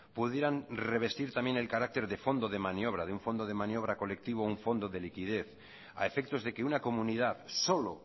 pudieran revestir también el carácter de fondo de maniobra de un fondo de maniobra colectivo o un fondo de liquidez a efectos de que una comunidad solo